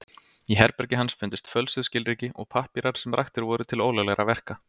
Í herbergi hans fundust fölsuð skilríki og pappírar sem raktir voru til ólöglegra verka.